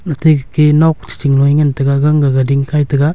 atte ga ke nok cha loh ee ngan taga gang ga dingkai taga.